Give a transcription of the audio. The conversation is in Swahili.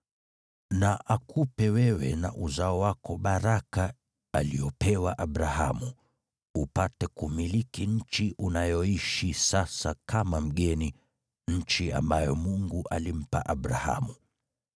Na akupe wewe na uzao wako baraka aliyopewa Abrahamu, upate kumiliki nchi unayoishi sasa kama mgeni, nchi ambayo Mungu alimpa Abrahamu.”